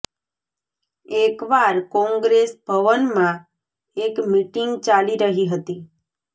એક વાર કોંગ્રેસ ભવનમાં એક મિટિંગ ચાલી રહી હતી